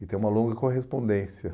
E tem uma longa correspondência.